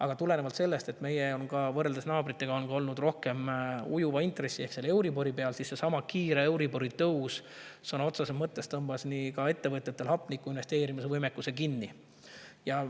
Aga tulenevalt sellest, et võrreldes naabritega on see meil olnud rohkem ujuva intressi ehk euribori peal, tõmbas seesama kiire euribori tõus ettevõtjatel sõna otseses mõttes hinge ehk investeerimisvõimekuse kinni.